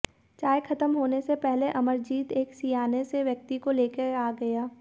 चाय खत्म होने से पहले अमरजीत एक सियाने से व्यक्ति को लेकर आ गया